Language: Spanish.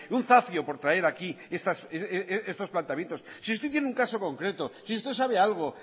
un zafio por traer aquí estos planteamientos si usted tiene un caso concreto si usted sabe algo